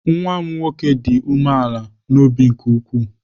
Nwa m nwoke dị umeala n'obi nke ukwuu.